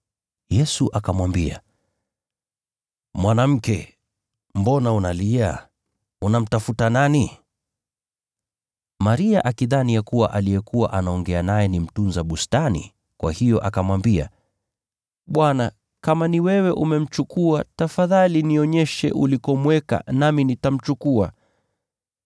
Yesu akamwambia, “Mwanamke, mbona unalia? Unamtafuta nani?” Maria akidhani ya kuwa aliyekuwa anaongea naye ni mtunza bustani, kwa hiyo akamwambia, “Bwana, kama ni wewe umemchukua, tafadhali nionyeshe ulikomweka, nami nitamchukua.”